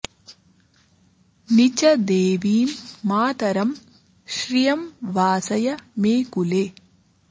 नि च॑ दे॒वीं मा॒तरं॒ श्रियं॑ वा॒सय॑ मे कु॒ले